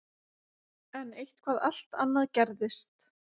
En eitthvað allt annað gerðist.